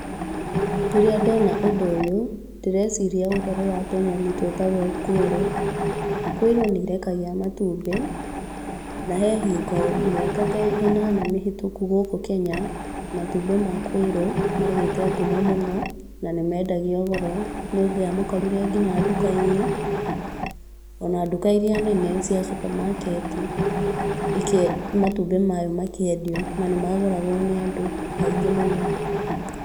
Rĩrĩa ndona ũndũ ũyũ, ndĩreciria ũhoro wa tũnyoni twĩtagwo kwĩrũ, kwĩrũ nĩ irekagia matumbĩ na he hingo mĩaka ta ĩnana mĩhĩtũku gũkũ Kenya, matumbĩ ma kwĩrũ magĩte ngumo mũno, na nĩ mendagio goro, nĩ ũngĩamakorire nginya nduka-inĩ, ona nduka irĩa nene cia supermarket, matumbĩ maya makĩendio na nĩ magũragwo nĩ andũ aingĩ mũno.